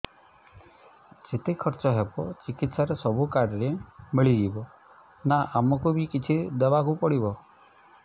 ଯେତେ ଖର୍ଚ ହେବ ଚିକିତ୍ସା ରେ ସବୁ କାର୍ଡ ରେ ମିଳିଯିବ ନା ଆମକୁ ବି କିଛି ଦବାକୁ ପଡିବ